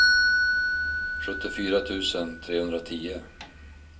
sjuttiofyra tusen trehundratio